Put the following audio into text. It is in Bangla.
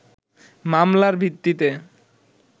মামলার ভিত্তিতে